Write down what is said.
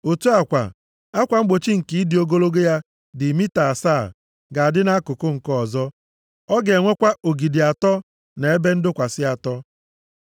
Otu a kwa, akwa mgbochi nke ịdị ogologo ya dị mita asaa ga-adị nʼakụkụ nke ọzọ. Ọ ga-enwekwa ogidi atọ na ebe ndọkwasị atọ.